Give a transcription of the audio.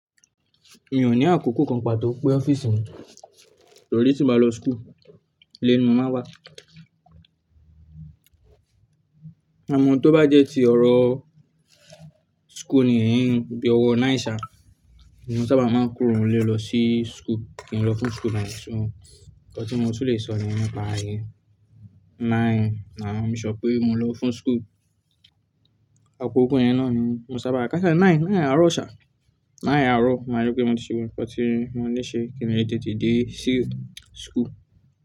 Mi ò ní àkókò kàn pàtó pé ọ́fíìsì mi torí tí mo bá lọ school, ilé ni mo máa wà. Ámọ tó bá jẹ́ ti ọ̀rọ̀ school nìyẹn bí i ọ̀wọ̀ mẹ́sàn-án sá, mo sábà máa ń kúrò ní ilé lọ sí school kí n lọ fún school ni mẹ́sàn-án. Nǹkan tí mo tún lè sọ ni nípa íyèn, nine máà make sure pé mo ń lọ fún school. Àpò ògún yẹn náà ni mo sábà kà á sọ nine, nine àárọ̀ ọ̀ṣà, nine àárọ̀. Mà á rí pé mo ti ṣubú, nǹkan tí mo ní ṣe kí èmi di tìtì dé sí school.